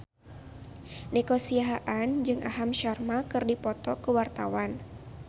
Nico Siahaan jeung Aham Sharma keur dipoto ku wartawan